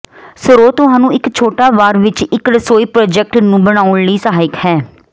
ਸਰੋਤ ਤੁਹਾਨੂੰ ਇੱਕ ਛੋਟਾ ਵਾਰ ਵਿੱਚ ਇੱਕ ਰਸੋਈ ਪ੍ਰਾਜੈਕਟ ਨੂੰ ਬਣਾਉਣ ਲਈ ਸਹਾਇਕ ਹੈ